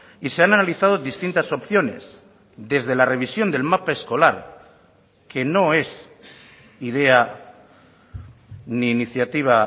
y se han analizado distintas opciones desde la revisión del mapa escolar que no es idea ni iniciativa